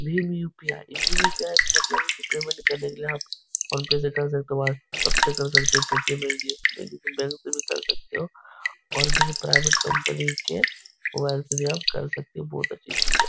Bhim UPI. Bhim UPI. का मतलब है उसे पेमेंट करने के लिए आप फोनपे से कर सकते हो व्हाट्सप्प से कर सकते हो पेटीएम भेज दिए बैंक से भी कर सकते हो और किसी प्राइवेट कंपनी के मोबाइल से भी आप कर सकते हो। बोहोत अच्छी चीज है।